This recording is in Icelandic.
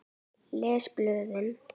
Les blöðin.